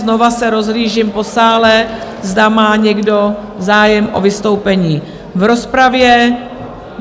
Znova se rozhlížím po sále, zda má někdo zájem o vystoupení v rozpravě.